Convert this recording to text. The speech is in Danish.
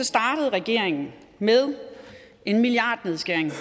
startede regeringen med en milliardnedskæring på